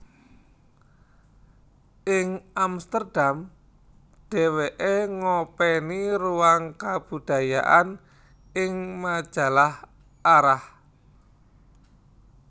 Ing Amsterdam dheweke ngopeni ruang kabudayaan ing majalah Arah